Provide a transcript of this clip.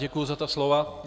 Děkuji za ta slova.